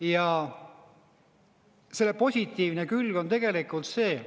Ja selle positiivne külg on tegelikult see.